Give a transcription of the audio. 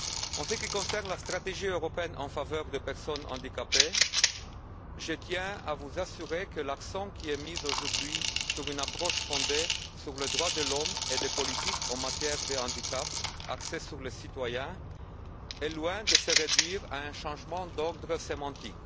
En ce qui concerne la stratégie européenne en faveur des personnes handicapées, je tiens à vous assurer que l'accent mis aujourd'hui sur une approche fondée sur les droits de l'homme et des politiques en matière de handicap axées sur les citoyens est loin de se réduire à un changement d'ordre sémantique.